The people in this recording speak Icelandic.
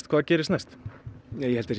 hvað gerist næst